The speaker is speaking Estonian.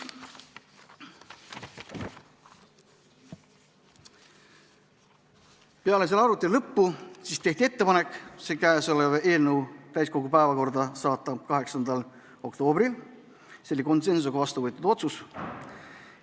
Peale arutelu lõppu tehti ettepanek see eelnõu 8. oktoobril täiskogu päevakorda saata, see oli konsensusega vastu võetud otsus.